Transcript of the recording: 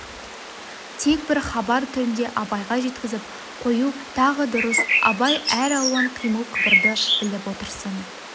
тек бір хабар түрінде абайға жеткізіп қою тағы дұрыс абай әр алуан қимыл қыбырды біліп отырсын